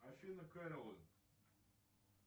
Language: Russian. афина кэролин